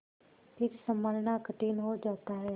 फिर सँभलना कठिन हो जाता है